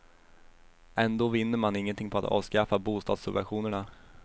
Ändå vinner man ingenting på att avskaffa bostadssubventionerna.